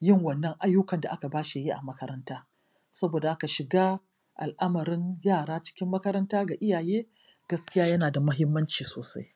yin wannan ayyukan da aka bashi yayi a makaranta. Saboda haka shiga al'amarin yara cikin makaranta ga iyaye gaskiya yana da mahimmanci sosai